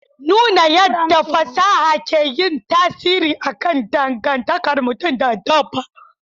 Nuna yadda fasaha ke yin tasiri akan dangantakar mutum da dabba.